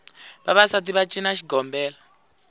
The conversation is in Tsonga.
vavasati va cina xigombela